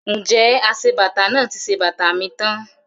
Ǹjẹ́ aṣebàtà náà ti ṣe bàtà mi tán?